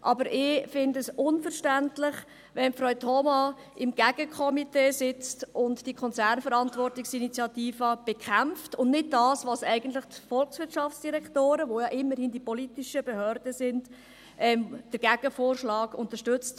Aber ich finde es unverständlich, dass Frau Thoma im Gegenkomitee sitzt und die Konzernverantwortungsinitiative bekämpft und nicht, wie es eigentlich die Volkswirtschaftsdirektoren tun – die ja immerhin die politischen Behörden sind – den Gegenvorschlag unterstützt.